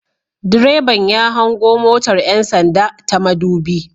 Direban ya hango motar 'yan sanda ta madubi